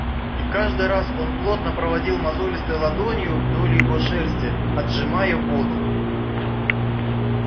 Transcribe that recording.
и каждый раз он плотно проводил мозолистой ладонью вдоль его шерсти отжимая воду